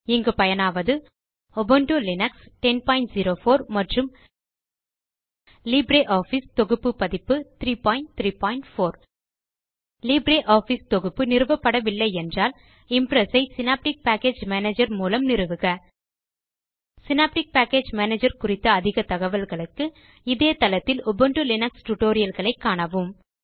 இங்கு பயனாவது Ubuntu Linux 1004 மற்றும் லிப்ரியாஃபிஸ் தொகுப்பு பதிப்பு 334 லிப்ரியாஃபிஸ் தொகுப்பு நிறுவப்படவில்லை என்றால் இம்ப்ரெஸ் ஐ சினாப்டிக் பேக்கேஜ் மேனேஜர் மூலம் நிறுவுக சினாப்டிக் பேக்கேஜ் மேனேஜர் குறித்த அதிக தகவல்களுக்கு இதே தளத்தில் உபுண்டு லினக்ஸ் Tutorialகளை காணவும்